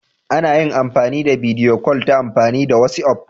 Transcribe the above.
Ana yin bidiyo kol ta amfani da wasi'of.